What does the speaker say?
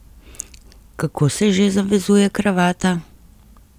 Kako se že zavezuje kravata?